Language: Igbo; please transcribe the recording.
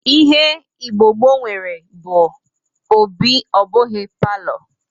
Ihe Igbo gboo nwere bụ obi ọ bụghị palọ